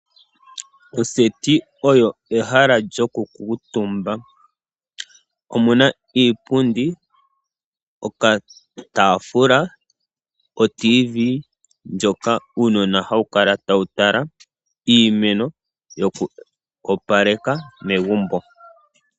Oseti oyo ehala lyoku kuutumba. Omuna iipundi, oka taafula oradio yomuzizimbe ndyoka uunona hawu kala tawu tala, iimeno yoku opaleka megumbo.